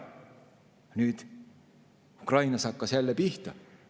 Nüüd hakkas Ukrainas jälle pihta.